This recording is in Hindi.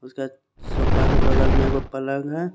उसके सोफा के बगल में वो पलंग है।